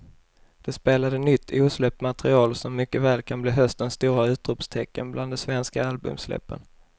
De spelade nytt osläppt material som mycket väl kan bli höstens stora utropstecken bland de svenska albumsläppen.